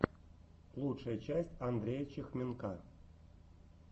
лучшая часть андрея чехменка